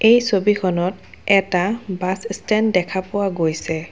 এই ছবিখনত এটা বাছ ষ্টেণ্ড দেখা পোৱা গৈছে।